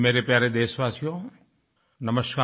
मेरे प्यारे देशवासियो नमस्कार